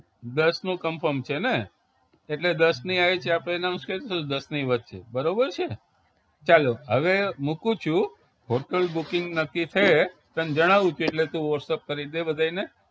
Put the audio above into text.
દસનું confirm છે ને એટલે દસની આવી રીતે આપણે announce કરી દેશું દસની વચ્ચે બરોબર છે ચાલો હવે મુકું છું hotel booking નક્કી થયે તને જણાવું છું એટલે તું whatsapp કરી દે બધાયને